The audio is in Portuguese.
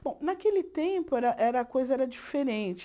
Bom, naquele tempo era era a coisa era diferente.